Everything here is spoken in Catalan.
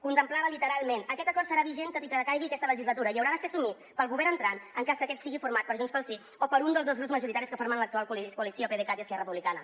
contemplava literalment aquest acord serà vigent tot i que decaigui aquesta legislatura i haurà de ser assumit pel govern entrant en cas que aquest sigui format per junts pel sí o per un dels dos grups majoritaris que formen l’actual coalició pdecat i esquerra republicana